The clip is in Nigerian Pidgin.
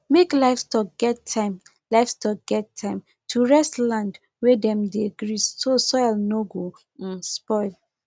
make livestock get time livestock get time to rest land wey dem dey graze so soil no go um spoil